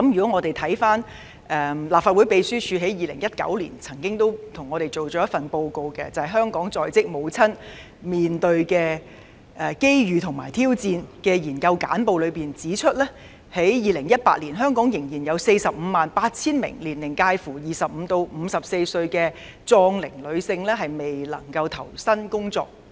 我們看看立法會秘書處在2019年為我們做的報告——"香港在職母親面對的機遇和挑戰"《研究簡報》，當中指出，香港在2018年仍有約 458,000 名年齡介乎25歲至54歲的壯齡女性未能投身工作。